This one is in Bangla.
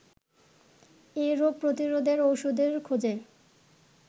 এ রোগ প্রতিরোধের ওষুধের খোঁজে